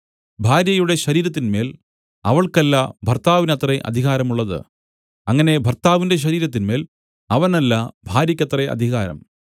ഭാര്യയുടെ ശരീരത്തിന്മേൽ അവൾക്കല്ല ഭർത്താവിനത്രേ അധികാരമുള്ളത് അങ്ങനെ ഭർത്താവിന്റെ ശരീരത്തിന്മേൽ അവനല്ല ഭാര്യക്കത്രേ അധികാരം